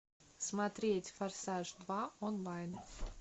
смотреть форсаж два онлайн